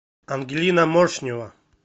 ангелина моршнева